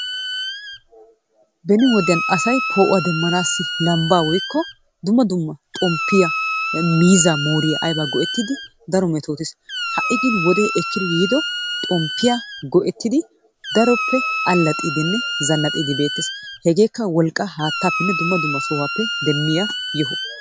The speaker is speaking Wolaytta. beni wodiyan asay poo'uwa demmanaassi lambbaa woykko dumma dumma xomppiyaa miizzaa mooriya ayba go''ettidi daro metoottees. ha'i gin wode ekkidi yiido xomppiyaa go''ettid daroppe allaxxidinne zannaxxide beettees. hegekka wolqqaa haattappenne dumma dumma sohuwappe demmiya yohuwaa.